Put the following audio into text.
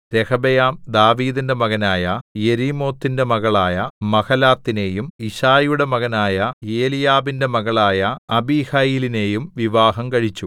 രെഹബെയാം ദാവീദിന്റെ മകനായ യെരീമോത്തിന്റെ മകളായ മഹലാത്തിനെയും യിശ്ശായിയുടെ മകനായ എലീയാബിന്റെ മകളായ അബീഹയീലിനെയും വിവാഹം കഴിച്ചു